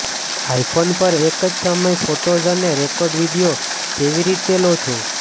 iPhone પર એક જ સમયે ફોટોઝ અને રેકોર્ડ વિડિઓ કેવી રીતે લો છો